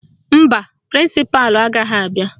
Mba, prịnsịpalụ agaghị abịa